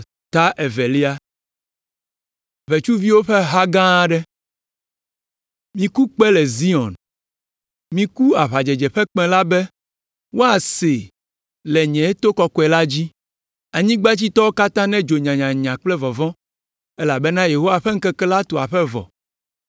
Miku kpẽ le Zion! Miku aʋadzedze ƒe kpẽ la be woasee le nye to kɔkɔe la dzi! Anyigbadzitɔwo katã nedzo nyanyanya kple vɔvɔ̃, elabena Yehowa ƒe ŋkeke la tu aƒe vɔ.